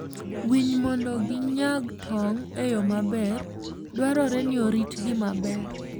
winy mondo ginyag tong' e yo maber, dwarore ni oritgi maber.